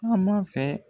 Taama fɛ